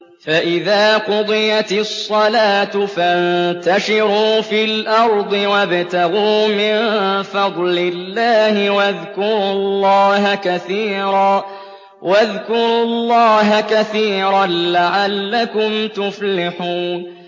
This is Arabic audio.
فَإِذَا قُضِيَتِ الصَّلَاةُ فَانتَشِرُوا فِي الْأَرْضِ وَابْتَغُوا مِن فَضْلِ اللَّهِ وَاذْكُرُوا اللَّهَ كَثِيرًا لَّعَلَّكُمْ تُفْلِحُونَ